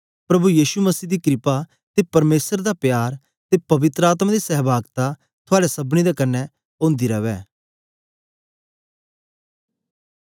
प्रभु यीशु मसीह दी क्रपा ते परमेसर दा प्यार ते पवित्र आत्मा दी सह्भागता थुआड़े सबनी दे कन्ने ओंदी रवै